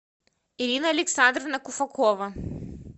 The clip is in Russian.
ирина александровна куфакова